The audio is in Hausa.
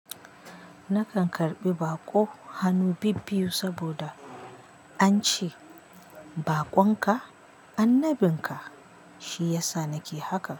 Nakan karɓi baƙo hanu bibbiyu saboda ance baƙonka Annabin ka.